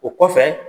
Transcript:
O kɔfɛ